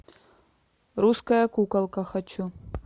русская куколка хочу